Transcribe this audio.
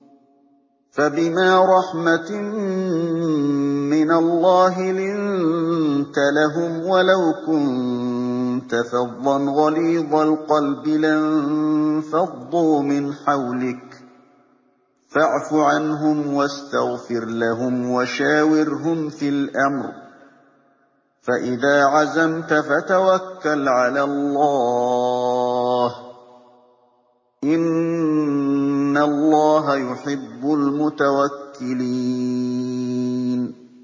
فَبِمَا رَحْمَةٍ مِّنَ اللَّهِ لِنتَ لَهُمْ ۖ وَلَوْ كُنتَ فَظًّا غَلِيظَ الْقَلْبِ لَانفَضُّوا مِنْ حَوْلِكَ ۖ فَاعْفُ عَنْهُمْ وَاسْتَغْفِرْ لَهُمْ وَشَاوِرْهُمْ فِي الْأَمْرِ ۖ فَإِذَا عَزَمْتَ فَتَوَكَّلْ عَلَى اللَّهِ ۚ إِنَّ اللَّهَ يُحِبُّ الْمُتَوَكِّلِينَ